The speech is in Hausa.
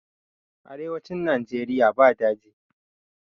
Arewacin nageria ba daji